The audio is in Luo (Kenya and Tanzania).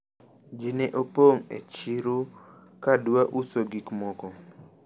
ji ne opong' e chiro kadwa uso gik moko